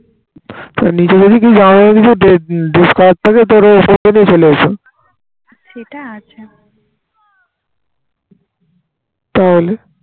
তা হলে